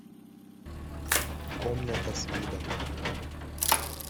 комната с видом